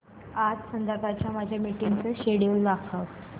आज संध्याकाळच्या माझ्या मीटिंग्सचे शेड्यूल दाखव